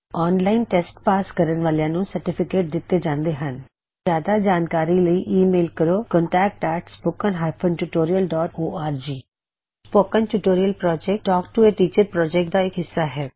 online test pass ਕਰਨ ਵਾਲਿਆਂ ਨੂੰ ਸਰਟੀਫਿਕੇਟ ਦਿੱਤੇ ਜਾਂਦੇ ਹਨ ਜਿਆਦਾ ਜਾਣਕਾਰੀ ਲਈ ਈ ਮੇਲ ਕਰੋ contactspoken tutorialorg spoken tutorial talk to a teacher project ਦਾ ਹਿੱਸਾ ਹੈ